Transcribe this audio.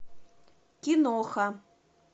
киноха